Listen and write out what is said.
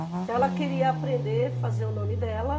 Então, ela queria aprender fazer o nome dela.